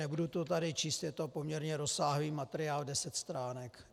Nebudu to tady číst, je to poměrně rozsáhlý materiál, deset stránek.